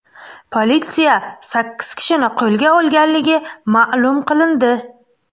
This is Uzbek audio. Politsiya sakkiz kishini qo‘lga olganligi ma’lum qilindi.